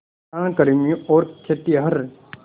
खनन कर्मियों और खेतिहर